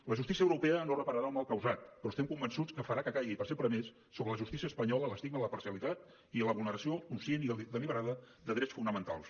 la justícia europea no repararà el mal causat però estem convençuts que farà que caigui per sempre més sobre la justícia espanyola l’estigma de la parcialitat i la vulneració conscient i deliberada de drets fonamentals